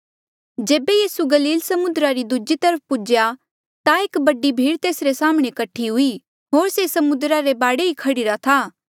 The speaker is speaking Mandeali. जेबे यीसू गलील समुद्रा री दूजी तरफ पुज्हेया ता एक बडी भीड़ तेसरे साम्हणें कठी हुई होर से समुद्रा रे बाढे ई था